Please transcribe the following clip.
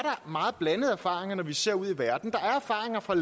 meget blandede erfaringer når vi ser ud i verden der er erfaringer fra